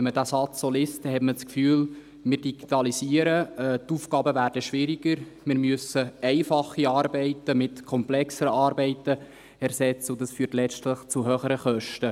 Wenn man diesen Satz liest, hat man das Gefühl, wir digitalisieren, die Aufgaben werden schwieriger, wir müssen einfache Arbeiten mit komplexeren Arbeiten ersetzen und dies führt letztlich zu höheren Kosten.